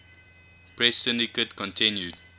press syndicate continued